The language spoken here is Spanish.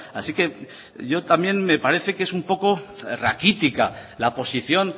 así que yo también me parece que es un poco raquítica la posición